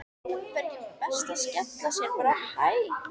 Var ekki best að skella sér bara á Hæ?